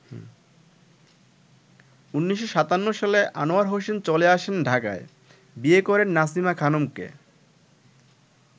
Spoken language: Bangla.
১৯৫৭ সালে আনোয়ার হোসেন চলে আসেন ঢাকায়, বিয়ে করেন নাসিমা খানমকে।